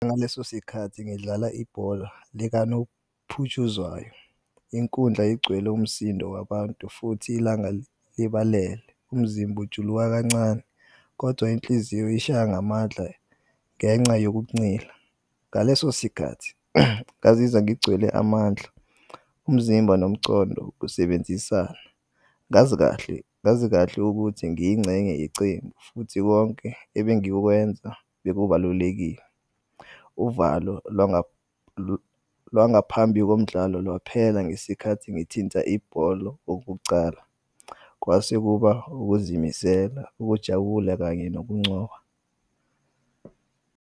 Ngaleso sikhathi ngidlala ibhola likanophutshuzwayo, inkundla igcwele umsindo wabantu futhi ilanga libalele umzimba ujuluka kancane kodwa inhliziyo ishaya ngamandla ngenca yokuncila, ngaleso sikhathi ngazizwa ngigcwele amandla umzimba nomcondo kusebenzisana ngazi kahle ukuthi ngiyincenye yecembu futhi konke ebengikwenza bekubalulekile. Uvalo lwangaphambi komdlalo lwaphela ngesikhathi ngithinta ibholo okokucala. Kwase kuba ukuzimisela, ukujabula kanye nokuncoba.